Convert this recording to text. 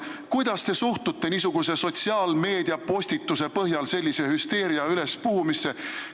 Kuidas te suhtute sotsiaalmeediapostituse põhjal sellise hüsteeria ülespuhumisse?